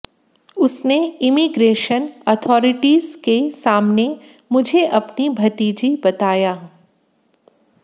उसने immigration authorities के सामने मुझे अपनी भतीजी बताया